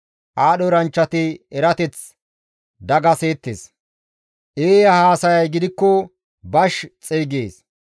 Aadho eranchchati erateth dagaseettes; eeya haasayay gidikko bash xeygees.